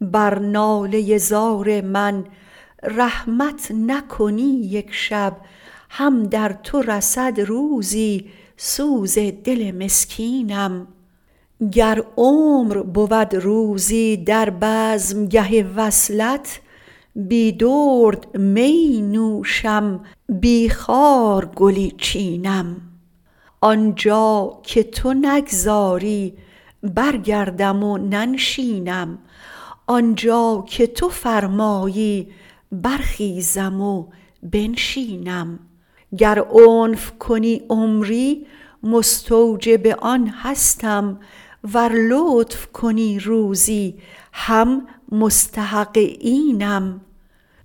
بر ناله ی زار من رحمت نکنی یک شب هم در تو رسد روزی سوز دل مسکینم گر عمر بود روزی در بزم گه وصلت بی درد میی نوشم بی خار گلی چینم آن جا گه تو نگذاری برگردم و ننشینم آن جا که تو فرمایی برخیزم و بنشینم گر عنف کنی عمری مستوجب آن هستم ور لطف کنی روزی هم مستحق اینم